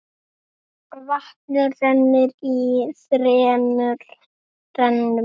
Vatnið rennur í þremur rennum.